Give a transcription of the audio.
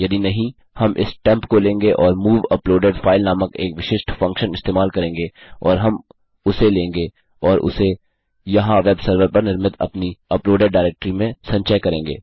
यदि नहीं हम इस टेम्प को लेंगे और मूव अपलोडेड फाइल नामक एक विशिष्ट फंक्शन इस्तेमाल करेंगे और हम उसे लेंगे और उसे यहाँ वेब सर्वर पर निर्मित अपनी अपलोडेड डायरेक्ट्री में संचय करेंगे